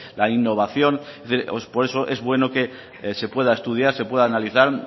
la innovación por eso es bueno que se pueda estudiar se pueda analizar